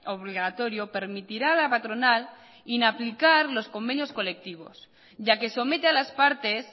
obligatorio permitirá a la patronal inaplicar los convenios colectivos ya que somete a las partes